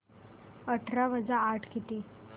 अठरा वजा आठ किती